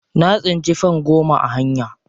Na tsinci fam goma a hanya.